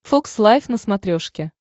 фокс лайф на смотрешке